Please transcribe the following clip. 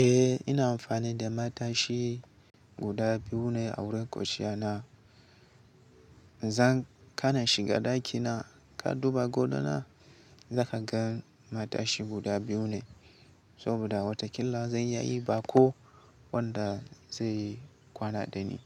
Eh ina amfani da matashi guda biyu ne a wurin kwanciya na. Zan kana shiga ɗakina ka duba gado na, zaka gan matashi guda biyu ne. Saboda watakila zan iya yin baƙo wanda zai kwana dani.